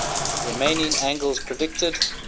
remaining angels predicted